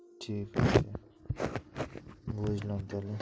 ঠিক আছে বুঝলাম তাইলে